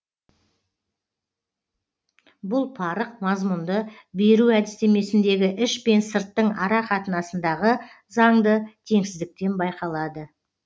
бұл парық мазмұнды беру әдістемесіндегі іш пен сырттың ара қатынасындағы заңды теңсіздіктен байқалады